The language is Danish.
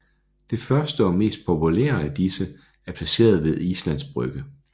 Det første og mest populære af disse er placeret ved Islands Brygge